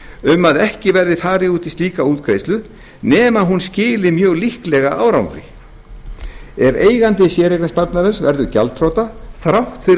um að ekki verði farið út í slíka útgreiðslu nema hún skili mjög líklega árangri ef eigandi séreignarsparnaðar verður gjaldþrota þrátt fyrir